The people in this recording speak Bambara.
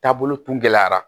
Taabolo tun gɛlɛyara